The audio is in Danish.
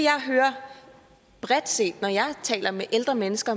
jeg hører bredt set når jeg taler med ældre mennesker